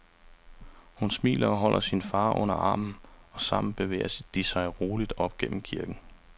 Hun smiler og holder sin far under armen og sammen bevæger de sig roligt op gennem kirken.